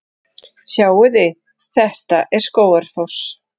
Sjáiði! Þetta er Skógafoss.